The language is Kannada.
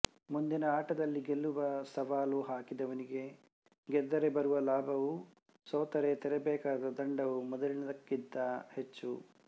ಮುಂದಿನ ಆಟದಲ್ಲಿ ಗೆಲ್ಲುವ ಸವಾಲು ಹಾಕಿದವನಿಗೆ ಗೆದ್ದರೆ ಬರುವ ಲಾಭವೂ ಸೋತರೆ ತೆರಬೇಕಾದ ದಂಡವೂ ಮೊದಲಿನದಕ್ಕಿಂತ ಹೆಚ್ಚು